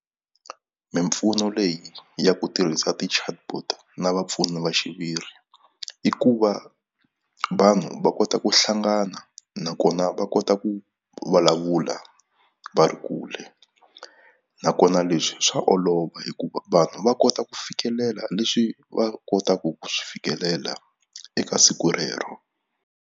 Mimpfuno leyi ya ku tirhisa ti-chatbot na vapfuni va xiviri i ku va vanhu va kota ku hlangana nakona va kota ku vulavula va ri kule nakona leswi swa olova hikuva vanhu va kota ku fikelela leswi va kotaku ku swi fikelela eka siku rero.